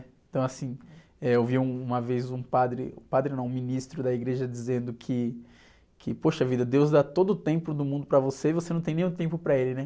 Então, assim, eh, eu vi uma vez um padre, padre não, um ministro da igreja dizendo que, que, poxa vida, deus dá todo o tempo do mundo para você e você não tem nenhum tempo para ele, né?